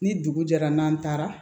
Ni dugu jɛra n'an taara